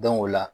o la